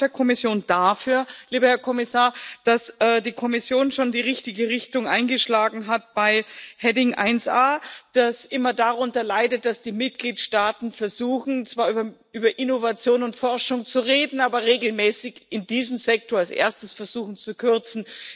Ich danke auch der Kommission dafür, lieber Herr Kommissar, dass die Kommission schon die richtige Richtung eingeschlagen hat bei Rubrik 1a, die immer darunter leidet, dass die Mitgliedstaaten versuchen, zwar über Innovation und Forschung zu reden, aber regelmäßig in diesem Sektor als Erstes versuchen zu kürzen.